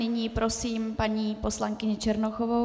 Nyní prosím paní poslankyni Černochovou.